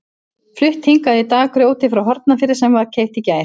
Flutt hingað í dag grjótið frá Hornafirði sem keypt var í gær.